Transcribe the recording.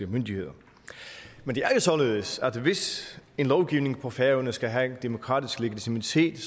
myndigheder men det er jo således at hvis en lovgivning på færøerne skal have demokratisk legitimitet